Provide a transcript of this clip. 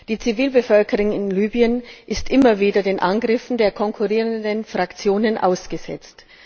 Die Zivilbevölkerung in Libyen ist immer wieder den Angriffen der konkurrierenden Fraktionen ausgesetzt.